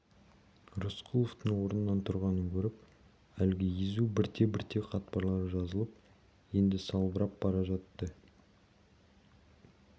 рысқұловтың орнынан тұрғанын көріп әлгі езу бірте-бірте қатпарлары жазылып енді салбырап бара жатты